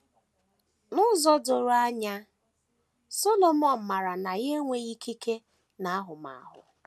N’ụzọ doro anya, Solomọn maara na ya enweghị ikike na ahụmahụ.